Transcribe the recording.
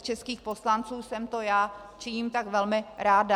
Z českých poslanců jsem to já, činím tak velmi ráda.